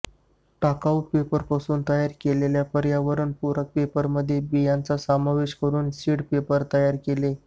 टाकवू पेपरपासून तयार केलेल्या पर्यावरण पूरक पेपरमध्ये बियांचा समावेश करून सीड पेपर तयार केला